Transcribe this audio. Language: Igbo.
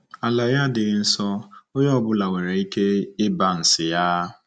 Ala ya adịghị nsọ, onye ọ bụla nwere ike ịba ns ya. ”